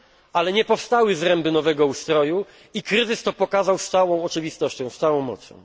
Ale nie powstały zręby nowego ustroju i kryzys to pokazał z całą oczywistością, z całą mocą.